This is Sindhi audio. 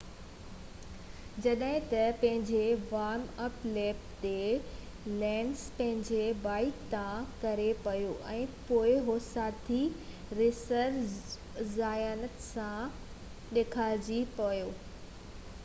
جڏهن ته پنهنجي وارم-اپ ليپ تي لينز پنهنجي بائيڪ تان ڪري پيو ۽ پوءِ هو ساٿي ريسر زيويئر زايت سان ٽڪرائجي پيو